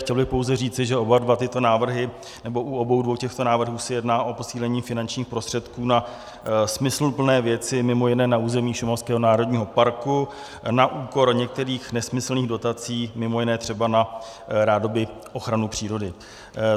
Chtěl bych pouze říci, že u obou dvou těchto návrhů se jedná o posílení finančních prostředků na smysluplné věci, mimo jiné na území šumavského národního parku na úkor některých nesmyslných dotací, mimo jiné třeba na rádoby ochranu přírody.